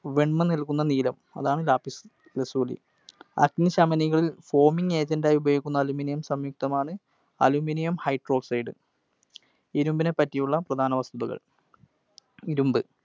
വെൺമ നൽകുന്ന നീലം. അതാണ് Lapiz Lazuli. അഗ്നിശമനികൾ foaming agent ആയി ഉപയോഗിക്കുന്ന Aluminum സംയുക്‌തമാണ് Aluminum Hydroxide. ഇരുമ്പിനെ പറ്റിയുള്ള പ്രധാന വസ്‌തുതകൾ. ഇരുമ്പ്.